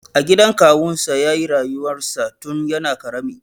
A gidan kawunsa ya yi rayuwarsa tun yana ƙarami.